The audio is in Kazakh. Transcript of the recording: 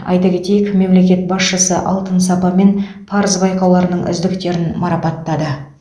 айта кетейік мемлекет басшысы алтын сапа мен парыз байқауларының үздіктерін марапаттады